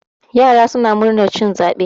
yara suna murnar cin zaɓe